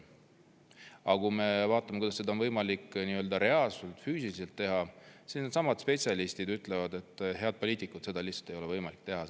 Aga kui me vaatame, kuidas seda on võimalik reaalselt, füüsiliselt teha, siis needsamad spetsialistid ütlevad, et head poliitikud, seda lihtsalt ei ole võimalik teha.